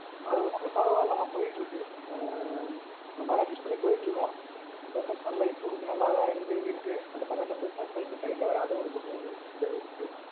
ஆஹ் அது பரவாயில்லை மா போயிட்டுருக்கு, ஆஹ் ஒருமாறி adjust பண்ணி போயிட்ருக்கோம். professor life கொஞ்சம் நல்ல இதா இருந்து இருக்கு. அத தவிர இந்த business life side ல வேற அது ஒரு பக்கம் கொஞ்சம் இதா இருக்கு